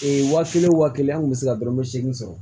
waa kelen o waa kelen an kun bɛ se ka dɔrɔmɛ seegin sɔrɔ